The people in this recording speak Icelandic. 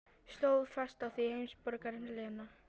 Stóð fast á því, heimsborgarinn Lena.